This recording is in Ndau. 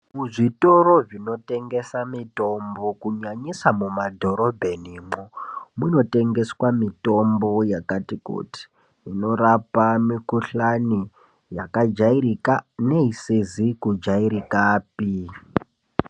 Muzvitoro zvinotengeswe mutombo kunyanyisa mumadhorobheni, munotengeswa mitombo yakati kuti, inorapa mikhuhlani yakajairika neisizi kujairikapi.